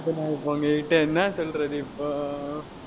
உங்ககிட்ட என்ன சொல்றது இப்போ